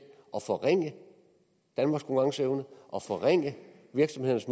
at forringe danmarks konkurrenceevne og forringe virksomhedernes